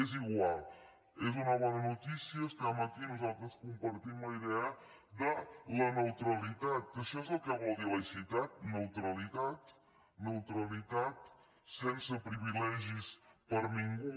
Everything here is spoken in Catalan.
és igual és una bona notícia estem aquí i nosaltres compartim la idea de la neutralitat que això és el que vol dir laïcitat neutralitat neutralitat sense privilegis per a ningú